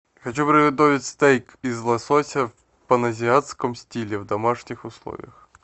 хочу приготовить стейк из лосося в паназиатском стиле в домашних условиях